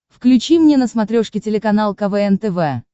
включи мне на смотрешке телеканал квн тв